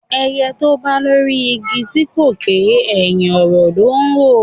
Ẹyẹ tó bà lórí igi tí kò ké, ẹ̀hìn ọ̀rọ̀ ló ńrò